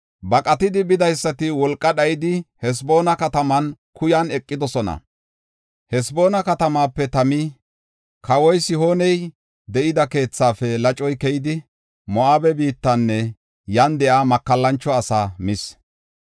“Baqatidi bidaysati wolqa dhayidi, Haseboona katama kuyan eqidosona. Haseboona katamaape Tami, kawoy Sihooney de7ida keethaafe lacoy keyidi, Moo7abe biittanne yan de7iya makallancho asaa mis.